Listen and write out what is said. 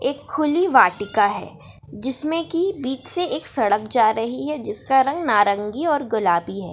एक खुली वाटिका है जिसमें की बीच से एक सड़क जा रही है जिसका रंग नारंगी और गुलाबी है।